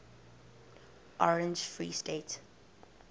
orange free state